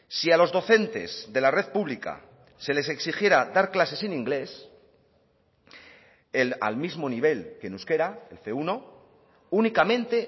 si a los docentes de la red pública se les exigiera dar clases en inglés al mismo nivel que en euskera el ce uno únicamente